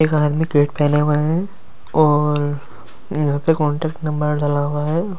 एक आदमी फैले हुए है और यहाँ पे कांटेक्ट नंबर डाला हुआ है।